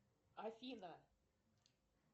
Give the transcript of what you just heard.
афина